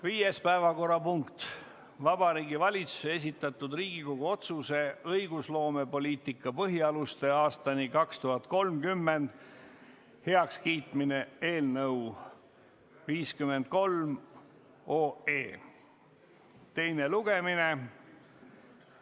Viies päevakorrapunkt on Vabariigi Valitsuse esitatud Riigikogu otsuse "„Õigusloomepoliitika põhialused aastani 2030“ heakskiitmine" eelnõu 53 teine lugemine.